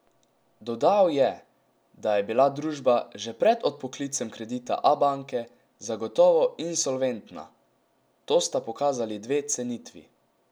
Dodal je, da je bila družba že pred odpoklicem kredita Abanke zagotovo insolventna: "To sta pokazali dve cenitvi.